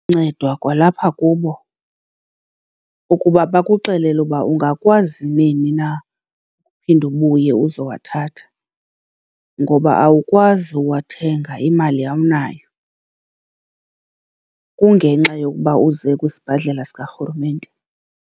kwalapha kubo ukuba bakuxelele uba ungakwazi nini na uphinda ubuye uzowathatha ngoba awukwazi uwathenga, imali awunayo, kungenxa yokuba uze kwisibhedlela sikarhulumente.